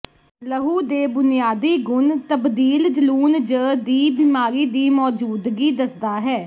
ਲਹੂ ਦੇ ਬੁਨਿਆਦੀ ਗੁਣ ਤਬਦੀਲ ਜਲੂਣ ਜ ਦੀ ਬਿਮਾਰੀ ਦੀ ਮੌਜੂਦਗੀ ਦੱਸਦਾ ਹੈ